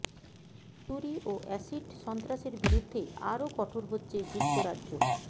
ছুরি ও এসিড সন্ত্রাসের বিরুদ্ধে আরও কঠোর হচ্ছে যুক্তরাজ্য